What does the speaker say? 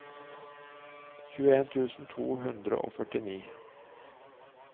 tjueen tusen to hundre og førtini